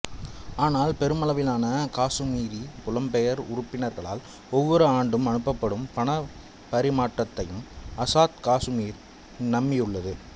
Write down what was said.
ஆனால் பெருமளவிலான காசுமீரி புலம்பெயர் உறுப்பினர்களால் ஒவ்வொரு ஆண்டும் அனுப்பப்படும் பணப்பரிமாற்றத்தையும் ஆசாத் காசுமீர் நம்பியுள்ளது